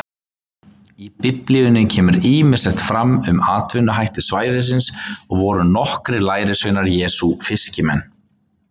Í Biblíunni kemur ýmislegt fram um atvinnuhætti svæðisins og voru nokkrir lærisveina Jesú fiskimenn.